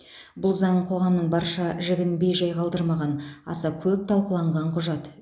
бұл заң қоғамның барша жігін бейжай қалдырмаған аса көп талқыланған құжат